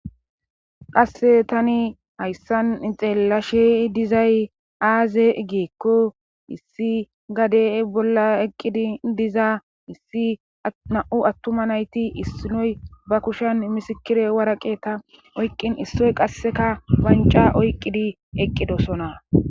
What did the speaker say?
Qasse tani hayssan ixeellashe dizay aaze geekko issi gade bolla eqqidi diza issi na7u attuma nayti issinoy ba kushen misikire waraqe ta oyqqin issoy qasseka banca oyqqidi eqqidosona.